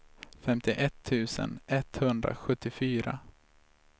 femtioett tusen etthundrasjuttiofyra